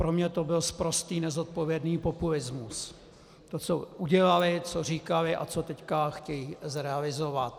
Pro mě to byl sprostý nezodpovědný populismus, to, co udělali, co říkali a co teď chtějí zrealizovat.